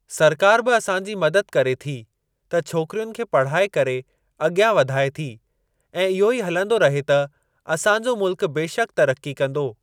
सरकार बि असांजी मदद करे थी त छोकिरियुनि खे पढ़ाए करे अॻियां वधाए थी ऐं इहो ई हलंदो रहे त असांजो मुल्क बेशक तरक़्क़ी कंदो।